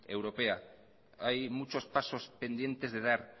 europea hay muchos pasos pendientes de dar